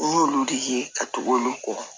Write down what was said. N y'olu de ye ka tugu olu kɔ